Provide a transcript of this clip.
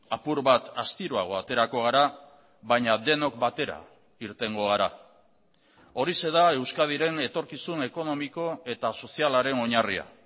apur bat astiroago aterako gara baina denok batera irtengo gara horixe da euskadiren etorkizun ekonomiko eta sozialaren oinarria